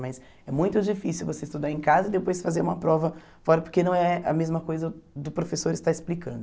Mas é muito difícil você estudar em casa e depois fazer uma prova fora, porque não é a mesma coisa do professor estar explicando.